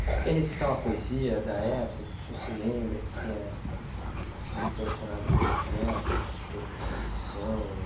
O senhor quer recitar uma poesia da época que o senhor se lembra, que tenha lhe impressionado pelos versos, pela composição?